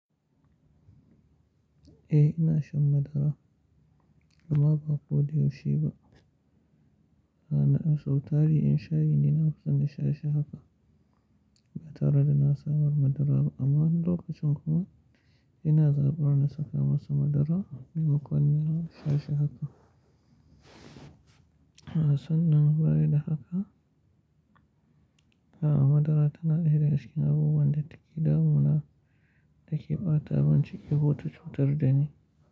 Eh ina shan madara amma ba ko da yaushe ba. Na na'i sau tari in sha yi, ni na kusan na sha shi haka ba tare da na samar madara ba amma wani lokacin kuma ina zaɓar na saka masa madara, ni makon nan na sha shi haka. Na san nan baya da haka. A'a, madara tana daidaikun abubuwan da take damuna da ke ɓata mun ciki ko ta cutar da ni.